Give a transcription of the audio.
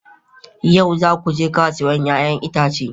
Yau za ku je kasuwar 'ya'yan itace?